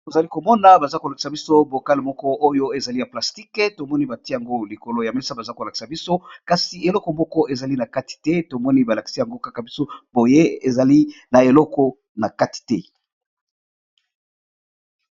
Tozali komona baza kolakisa biso bokale moko oyo ezali ya plastikue tomoni bati yango likolo ya mesa baza kolakisa biso kasi eleko moko ezali na kati te tomoni balakisa yango kaka biso boye ezali na eleko na kati te.